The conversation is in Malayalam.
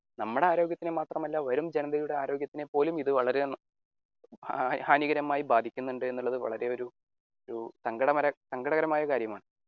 നമ്മുടെ ആരോഗ്യത്തിനെ മാത്രമല്ല വരും ജനതയുടെ ആരോഗ്യത്തിനെ പോലും ഇത് വളരെ ഹാനികരമായി ബാധിക്കുന്നുണ്ട് എന്നുള്ളത് വളരെ ഒരു ഒരു സങ്കടസങ്കടകരമായ കാര്യമാണ്.